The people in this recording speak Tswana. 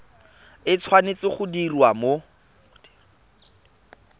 e tshwanetse go diriwa mo